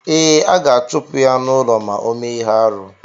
Ee, a ga-achupu ya n'ulọ ma ọ mee ihe-árú.